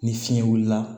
Ni fiɲɛ wulila